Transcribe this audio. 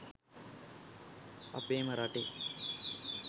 අපේම රටේ